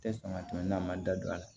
Tɛ sɔn ka tɛmɛ n'a ma da don a la